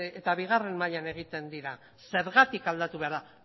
eta bigarren mailan egiten dira zergatik aldatu behar dira